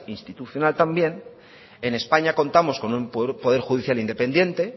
institucional en españa contamos con un poder judicial independiente